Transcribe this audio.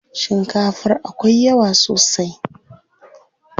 Shikafar akwai yawa sosai.